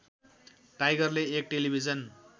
टाइगरले एक टेलिभिजन